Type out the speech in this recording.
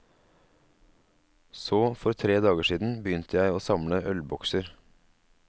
Så for tre dager siden begynte jeg å samle ølbokser.